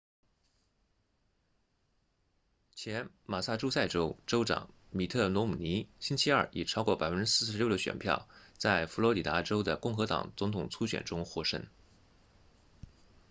前马萨诸塞州州长米特罗姆尼星期二以超过 46% 的选票在佛罗里达州的共和党总统初选中获胜